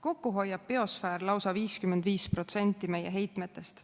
Kokku hoiab biosfäär lausa 55% meie heitmetest.